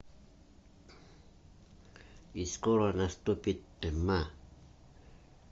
и скоро наступит тьма